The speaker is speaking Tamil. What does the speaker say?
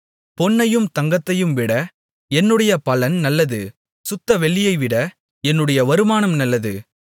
பொன்னையும் தங்கத்தையும்விட என்னுடைய பலன் நல்லது சுத்த வெள்ளியைவிட என்னுடைய வருமானம் நல்லது